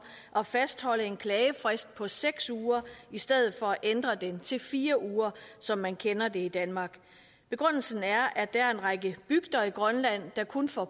at fastholde en klagefrist på seks uger i stedet for at ændre den til fire uger som man kender det i danmark begrundelsen er at der er en række bygder i grønland der kun får